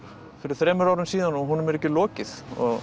fyrir þremur árum og honum er ekki lokið